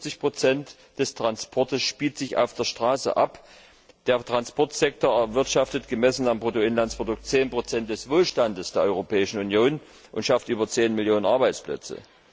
75 des Transports spielen sich auf der Straße ab. Der Transportsektor erwirtschaftet gemessen am Bruttoinlandsprodukt 10 des Wohlstands der Europäischen Union und schafft über 10 Millionen Arbeitsplätze.